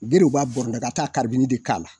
Berew b'a bɔrɔndɔ ka taa de k'a la